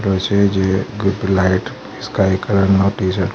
અ છે જે ગ-ગ લાઈટ સ્કાય કલર નો ટીશર્ટ --